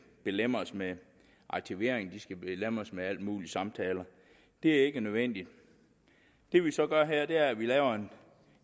belemres med aktivering og de skal belemres med alle mulige samtaler det er ikke nødvendigt det vi så gør her er at vi laver en